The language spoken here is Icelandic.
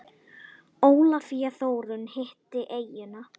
Ólafía Þórunn hitti eyjuna.